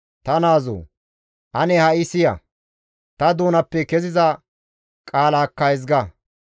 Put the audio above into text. Ta naazoo! Ane ha7i siya; ta doonappe keziza qaalaakka ezga.